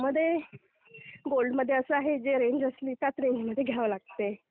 त्यामध्ये, गोल्डमध्ये असं आहे, जे रेंज असली त्याच रेंजमध्ये घ्यावं लागतंय.